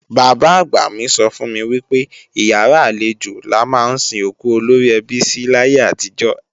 Bàbá-àgbà mi sọ fún mi wípé ìyàrá àlejò la ma ń sin òkú olóríẹbí sí láyé àtijó.